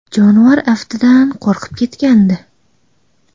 Jonivor aftidan, qo‘rqib ketgandi.